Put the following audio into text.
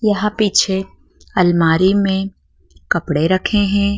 यहां पीछे अलमारी में कपड़े रखे हैं।